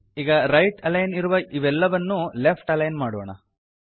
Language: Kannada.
ಈಗ ರೈಟ್ ಅಲೈನ್ ಇರುವ ಇವೆಲ್ಲವನ್ನೂ ಲೆಫ್ಟ್ ಅಲೈನ್ ಮಾಡೋಣ